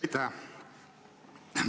Aitäh!